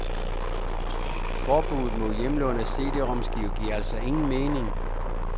Forbudet mod hjemlån af CDromskiver giver altså ingen mening.